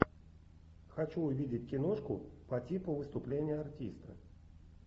хочу увидеть киношку по типу выступление артиста